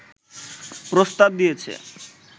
প্রস্তাব দিয়েছে